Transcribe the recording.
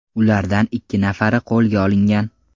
Ulardan ikki nafari qo‘lga olingan.